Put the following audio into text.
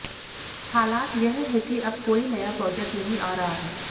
हालात यह हैं कि अब कोई नया प्रोजेक्ट नहीं आ रहा है